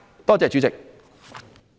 多謝主席。